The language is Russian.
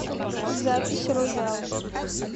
запись роял